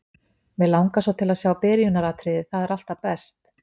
Mig langar svo til að sjá byrjunaratriðið, það er alltaf best.